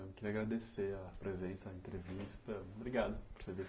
Eu queria agradecer a presença, a entrevista. Obrigado por